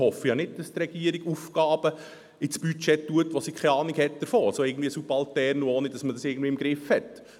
Ich hoffe nämlich nicht, dass die Regierung Aufgaben im Budget aufnimmt, von welchen sie keine Ahnung hat, also subaltern, ohne dass man es irgendwie im Griff hat.